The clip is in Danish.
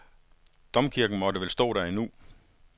Domkirken måtte vel stå der endnu.